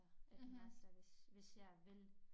En master hvis hvis jeg vil